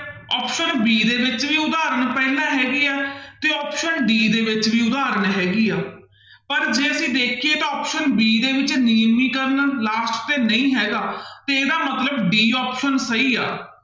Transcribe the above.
Option b ਦੇ ਵਿੱਚ ਵੀ ਉਦਾਹਰਨ ਪਹਿਲਾਂ ਹੈਗੀ ਹੈ ਤੇ option d ਦੇ ਵਿੱਚ ਵੀ ਉਦਾਹਰਨ ਹੈਗੀ ਆ ਪਰ ਜੇ ਅਸੀਂ ਦੇਖੀਏ ਤਾਂ option b ਦੇ ਵਿੱਚ last ਤੇ ਨਹੀਂ ਹੈਗਾ ਤੇ ਇਹਦਾ ਮਤਲਬ d option ਸਹੀ ਆ